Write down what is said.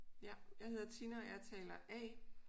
Ja jeg hedder Tina og jeg er taler A